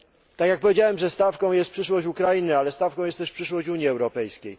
Tak jak powiedziałem, stawką jest przyszłość Ukrainy, ale stawką jest też przyszłość Unii Europejskiej.